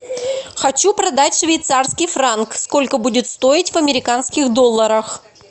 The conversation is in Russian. хочу продать швейцарский франк сколько будет стоить в американских долларах